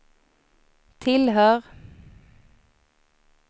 tillhör